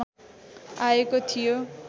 आएको थियो